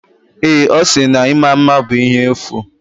Ee, ọ sịrị na ịma mma bụ ihe efu.